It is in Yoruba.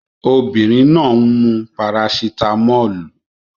Obinrin naa n mu parasitámọ́lù